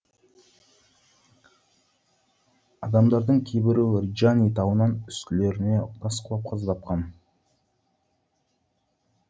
адамдардың кейбіреуі ринджани тауынан үстілеріне тас құлап қаза тапқан